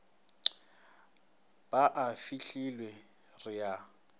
bo a fihlelwa re a